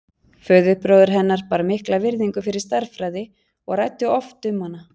Föðurbróðir hennar bar mikla virðingu fyrir stærðfræði og ræddi oft um hana.